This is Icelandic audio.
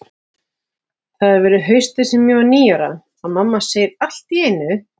Það hefur verið haustið sem ég varð níu ára, að mamma segir allt í einu